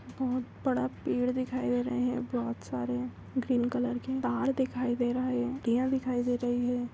बहुत बड़ा पेड़ दिखाई दे रहा है बहुत सारे ग्रीन कलर के तार दिखाई दे रहे है ऑन्टीयाँ दिखाई दे रही है|